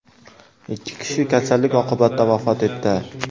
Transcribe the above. Ikki kishi kasallik oqibatida vafot etdi.